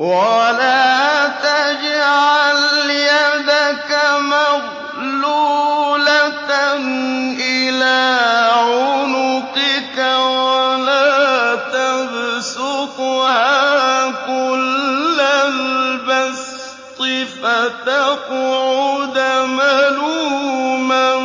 وَلَا تَجْعَلْ يَدَكَ مَغْلُولَةً إِلَىٰ عُنُقِكَ وَلَا تَبْسُطْهَا كُلَّ الْبَسْطِ فَتَقْعُدَ مَلُومًا